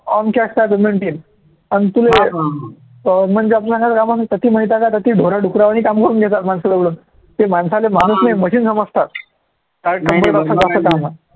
आमच्या penalty आहे अन तुले म्हणजे ढोरं, डुकारावानी काम करून घेतात माणसाजवळून ते माणसाले माणूस नाही machine समजतात नाही नाही